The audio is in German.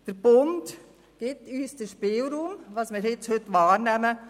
Der Bund gibt uns den Spielraum, den wir heute wahrnehmen.